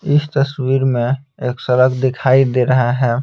इस तस्वीर में एक सड़क दिखाई दे रहा है।